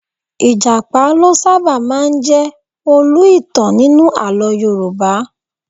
Ìjàpá ló sábà máa ń jẹ olú - ìtàn nínú àlọ́ Yorùbá